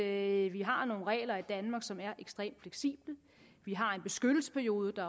at vi har nogle regler i danmark som er ekstremt fleksible at vi har en beskyttelsesperiode der